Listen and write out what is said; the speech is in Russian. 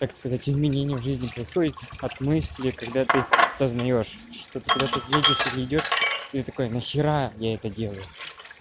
как сказать изменение в жизни происходит от мысли когда ты сознаёшь что ты куда-то едешь или идёшь и такой нахера я это делаю